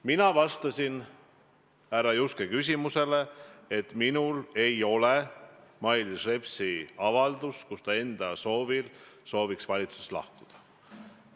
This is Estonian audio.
Mina vastasin härra Juske küsimusele, et minul ei ole Mailis Repsi avaldust, milles ta enda soovil sooviks valitsusest lahkuda.